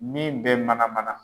Min bɛ mana mana.